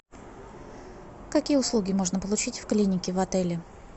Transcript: какие услуги можно получить в клинике в отеле